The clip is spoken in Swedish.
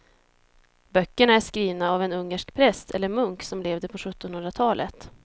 Böckerna är skrivna av en ungersk präst eller munk som levde på sjuttonhundratalet.